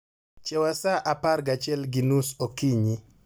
chiewa sa apar gachiel gi nus okinyi